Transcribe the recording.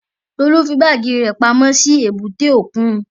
Tolú fí báàgì rẹ̀ pamọ́ sí èbúté òkun